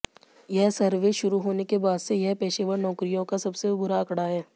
यह सर्वे शुरू होने के बाद से यह पेशेवर नौकरियों का सबसे बुरा आंकड़ा है